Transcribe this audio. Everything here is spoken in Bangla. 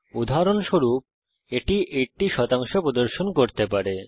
উদাহরণস্বরূপ এটি 80 শতাংশ প্রদর্শন করতে পারে